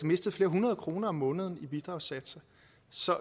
mistet flere hundrede kroner om måneden i bidragssatser så